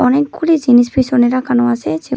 অনেকগুলি জিনিস পিছনে রাখানো আছে যে--